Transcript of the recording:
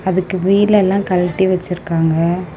அதுக்கு வீல் எல்லா கழட்டி வச்சிருக்காங்க.